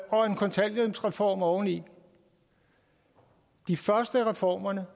og en kontanthjælpsreform oven i de første af reformerne